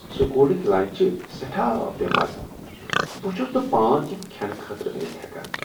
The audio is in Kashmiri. سکوُلٕکۍ لنچ چھ سیٹھاہ بےٚ مزٕ ، بہٕ چُھس نہٕ پان یِم كھینہٕ خٲطرٕ أنِتھ ہیكان ۔